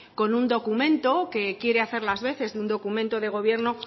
con un documento que quiere hacer las veces de un documento de gobierno